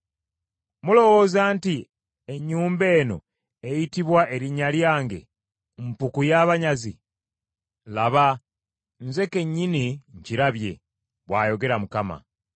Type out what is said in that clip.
Mulowooza nti ennyumba eno eyitibwa ennyumba yange, mpuku y’abanyazi? Laba, nze kennyini nkirabye,” bw’ayogera Mukama .